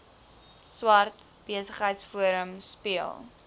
swart besigheidsforum speel